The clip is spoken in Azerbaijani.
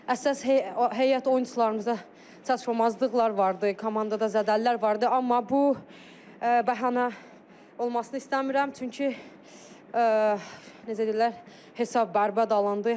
Əsas heyət oyunçularımıza çatışmamazlıqlar vardı, komandada zədəlilər vardı, amma bu bəhanə olmasını istəmirəm, çünki necə deyərlər, hesab bərbad alındı.